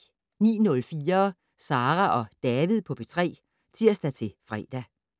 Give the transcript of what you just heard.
09:04: Sara og David på P3 (tir-fre)